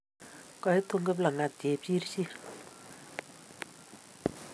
Koitun Kiplang'at Chepchirchir.